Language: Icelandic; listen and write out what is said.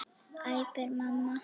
æpir mamma.